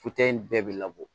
in bɛɛ bɛ labɔ